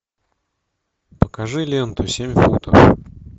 покажи ленту семь футов